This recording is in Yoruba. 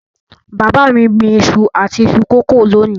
Bàbá mi gbìn iṣu àti iṣu kòkó lónìí.